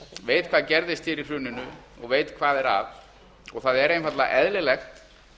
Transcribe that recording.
veit hvað gerðist hér í hruninu og veit hvað er að það er einfaldlega eðlilegt